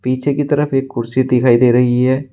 पीछे की तरफ एक कुर्सी दिखाई दे रही है।